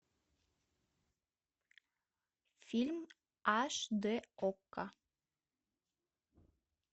фильм аш д окко